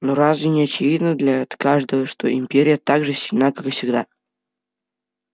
но разве не очевидно для каждого что империя так же сильна как и всегда